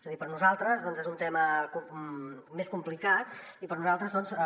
és a dir per a nosaltres és un tema més complicat i per a nosaltres